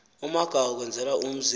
umagawu ukwenzela umzi